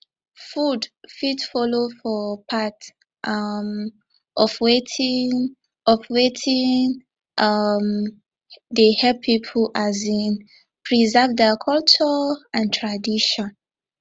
food fit follow for part um of wetin of wetin um dey help pipo um preserve their culture and tradition